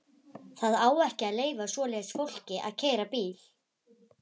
Það á ekki að leyfa svoleiðis fólki að keyra bíl!